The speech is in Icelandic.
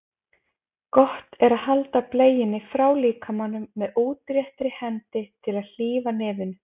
Gott er að halda bleiunni frá líkamanum með útréttri hendi til að hlífa nefinu.